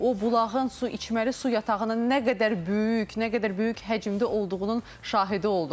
O bulağın su içməli su yatağının nə qədər böyük, nə qədər böyük həcmdə olduğunun şahidi olduq.